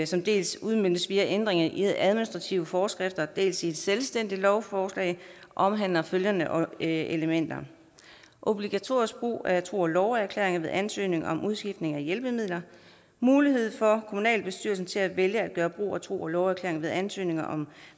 som dels udmøntes via ændringer i administrative forskrifter dels i et selvstændigt lovforslag omhandler følgende elementer obligatorisk brug af tro og love erklæring ved ansøgning om udskiftning af hjælpemidler mulighed for kommunalbestyrelsen til at vælge at gøre brug af tro og love erklæringer ved ansøgninger om